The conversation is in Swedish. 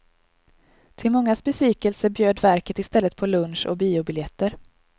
Till mångas besvikelse bjöd verket i stället på lunch och biobiljetter.